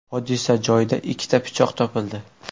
Hodisa joyida ikkita pichoq topildi.